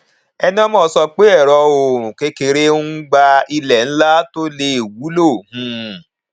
enemoh sọ pé ẹrọ oòrùn kékeré ń gba ilẹ ńlá tó lè wúlò um